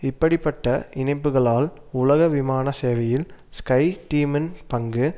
இப்படி பட்ட இணைப்புக்களால் உலக விமான சேவையில் ஸ்கை டீமின் பங்கு